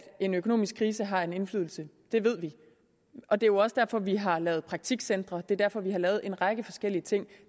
en økonomisk krise har en indflydelse det ved vi og det er også derfor vi har lavet praktikcentre det er derfor vi har lavet en række forskellige ting